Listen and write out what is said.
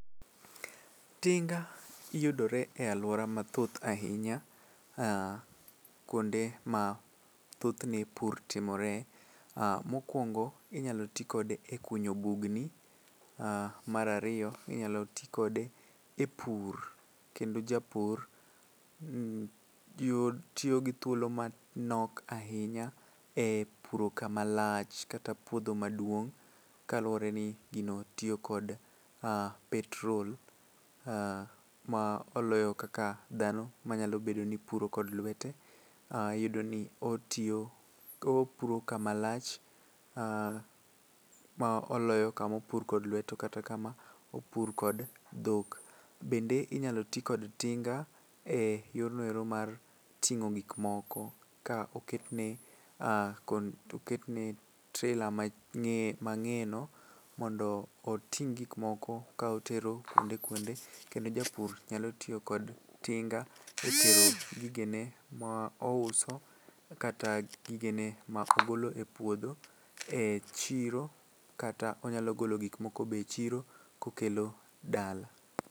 Tinga yudore e alwora mathoth ahinya ah kuonde ma thothne pur timore, Ah mokwongo inyalo tikode e kunyo bugni ah mar ariyo inyalo ti kode e pur kendo japur tiyo gi thuolo manok ahinya e puro kama lach kata puodho maduong' kaluwore ni gino tiyo kod ah petrol ah ma oloyo kaka dhano manyalo bedo ni puro kod lwete inyalo yudo ni opuro kama lach ah moloyo kama opur kod lweto kata kama opur kod dhok. Bende inyalo ti kod tinga e yorno ero mar ting'o gikmoko ka oketne trela mang'eyeno mondo oting' gikmoko ka otero kuonde kuonde kendo japur nyalo tiyo kod tinga e tero gigene ma ouso kata gigene ma ogolo e puodho e chiro kata onyalo golo gikmoko be e chiro kokelo dala.